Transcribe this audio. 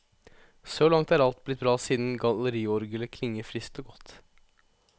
Så langt er alt blitt bra siden galleriorglet klinger friskt og godt.